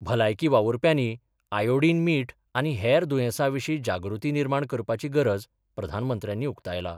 भलायकी वावूरप्यानी आयोडीन मीठ आनी हेर दूयेसांविशी जागृती निर्माण करपाची गरज प्रधानमंत्र्यांनी उक्तायला.